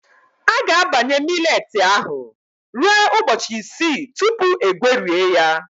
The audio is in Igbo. A ga-abanye millet ahụ ruo ụbọchị isii tupu egwerie ya.